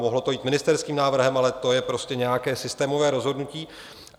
Mohlo to jít ministerským návrhem, ale to je prostě nějaké systémové rozhodnutí.